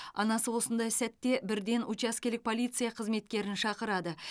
анасы осындай сәтте бірден учаскелік полиция қызметкерін шақырады